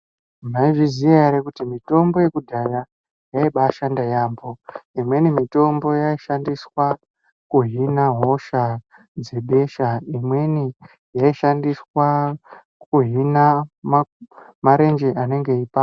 Maizviziya ere kuti mitombo yekudhaya yaimbashanda yaambo imweni mitombo yaishandiswa kuhina hosha dzebesha imweni yaishandiswa kuhina marenje anenge eipanda.